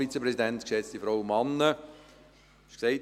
Es wurde bereits gesagt: